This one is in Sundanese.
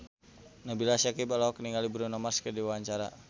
Nabila Syakieb olohok ningali Bruno Mars keur diwawancara